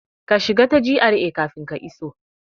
Ka shiga ta GRA kafin ka iso!